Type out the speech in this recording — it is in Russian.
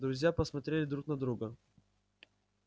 друзья посмотрели друт на друга